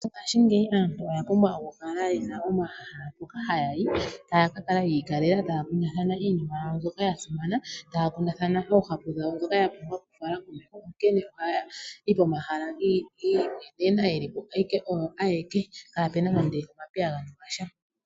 Mongashingeyi aantu oya pumbwa okukala ye na omahala mpoka haya yi taya ka kala yi ikalela taya kundathana iinima yawo mbyoka ya simana, taya kundathana oohapu dhawo ndhoka ya pumbwa okufala komeho, onkene ohaya yi komahala gi imwenena ye li po ashike oyo ayeke kaapu na nando omapiyagano gasha.